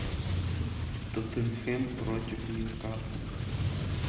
тоттенхем против ньюкасла